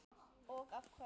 Og þá af hverju?